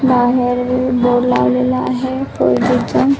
बाहेर बोर्ड लावलेला आहे चा.